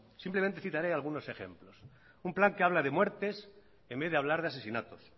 simplemente citaré algunos ejemplos un plan que habla de muertes en vez de hablar de asesinatos